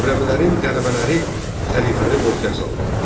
Xürrəmlərin qələbələri xəlifəni qorxuya saldı.